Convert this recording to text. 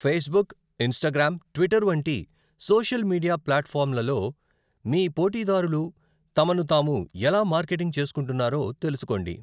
Facebook, Instagram, Twitter వంటి social media ప్లాట్ఫాంలలో మీ పోటీదారులు తమను తాము ఎలా మార్కెటింగ్ చేసుకుంటున్నారో తెలుసుకోండి.